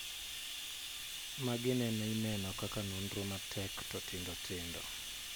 Magi nene ineno kaka nonro matek to tindo tindo